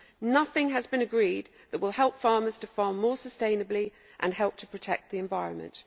Nothing has been agreed that will help farmers to farm more sustainably or to help to protect the environment.